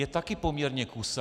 - je taky poměrně kusá.